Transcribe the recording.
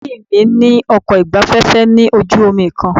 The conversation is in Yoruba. Ẹbí mí ní ọkọ̀ ìgbafẹ́fẹ́ lójú omi kan.